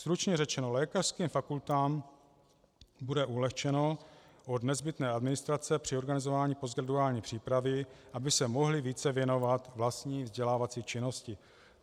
Stručně řečeno, lékařským fakultám bude ulehčeno od nezbytné administrace při organizování postgraduální přípravy, aby se mohly více věnovat vlastní vzdělávací činnosti.